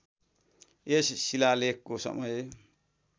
यस शिलालेखको समय